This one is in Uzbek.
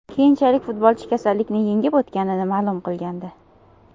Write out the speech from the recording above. Keyinchalik futbolchi kasallikni yengib o‘tganini ma’lum qilgandi.